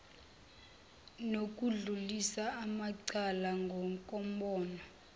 nokudlulisa amacala ngokombono